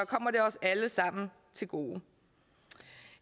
kommer det os alle sammen til gode